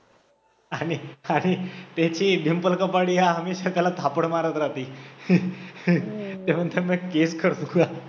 आणि आणि त्याची एक डिंपल कपाडिया अमित थापड मारत राहते, ते म्हणते मै TF कर दुंगा